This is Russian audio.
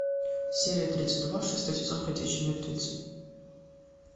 серия тридцать два шестой сезон ходячие мертвецы